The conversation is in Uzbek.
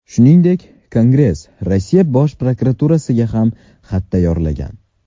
Shuningdek, Kongress Rossiya Bosh prokuraturasiga ham xat tayyorlagan.